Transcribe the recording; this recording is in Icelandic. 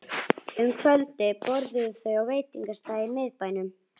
Um kvöldið borðuðu þau á veitingastað í miðbænum.